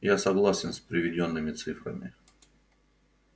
я согласен с приведёнными цифрами